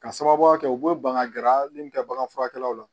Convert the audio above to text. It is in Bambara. Ka sababuya kɛ u bɛ ban ka gɛrɛ a min kɛ bagan furakɛlaw la